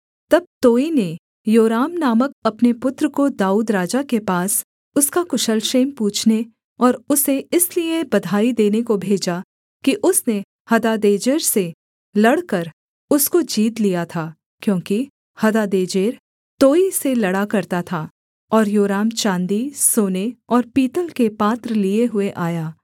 तब तोई ने योराम नामक अपने पुत्र को दाऊद राजा के पास उसका कुशल क्षेम पूछने और उसे इसलिए बधाई देने को भेजा कि उसने हदादेजेर से लड़कर उसको जीत लिया था क्योंकि हदादेजेर तोई से लड़ा करता था और योराम चाँदी सोने और पीतल के पात्र लिए हुए आया